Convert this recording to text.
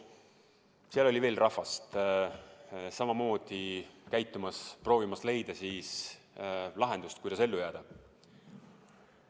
Seal oli veel rahvast samamoodi proovimas leida lahendust, kuidas ellu jääda.